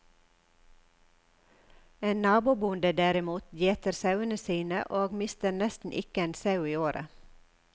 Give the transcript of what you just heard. En nabobonde derimot gjeter sauene sine, og mister nesten ikke en sau i året.